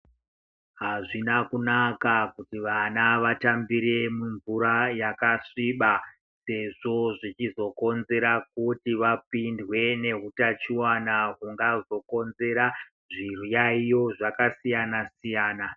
Azvina kunaka kuti vana vatambire mumvura yakasviba, sezvo zvechizokonzera kuti vapindwe nehutachiwana hungazokonzera zviyayiyo zvakasiyana siyana.